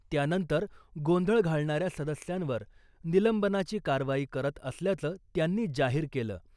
त्यानंतर गोंधळ घालणाऱ्या सदस्यांवर निलंबनाची कारवाई करत असल्याचं त्यांनी जाहीर केलं .